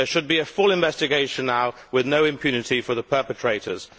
There should be a full investigation now, with no impunity for the perpetrators.